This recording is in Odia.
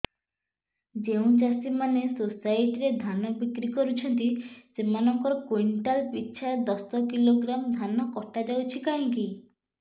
ଯେଉଁ ଚାଷୀ ମାନେ ସୋସାଇଟି ରେ ଧାନ ବିକ୍ରି କରୁଛନ୍ତି ସେମାନଙ୍କର କୁଇଣ୍ଟାଲ ପିଛା ଦଶ କିଲୋଗ୍ରାମ ଧାନ କଟା ଯାଉଛି କାହିଁକି